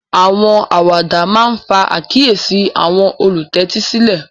Àwọn àwàdà máà ńfa àkiyési àwọn ólutẹtisilẹ